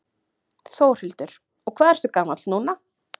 Þórhildur: Og hvað ertu gamall núna?